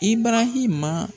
Ibarahima.